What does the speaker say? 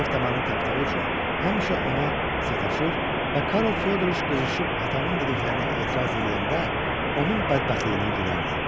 Zəif damarını tapdığı üçün həmişə ona sataşır və Karl Fyodriç qızışıb atamın dediklərinə etiraz eləyəndə onun bədbəxtliyinə gülərdi.